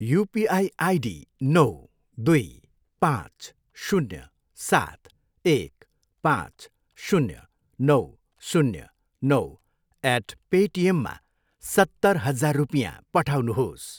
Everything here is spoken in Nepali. युपिआई आइडी नौ, दुई, पाँच, शून्य, सात, एक, पाँच, शून्य, नौ, शून्य, नौ एट पेटिएममा सत्तर हजार रपियाँ पठाउनुहोस्।